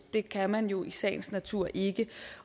det kan man jo i sagens natur ikke